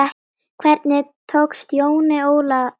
Hvernig tókst Jóni Óla það?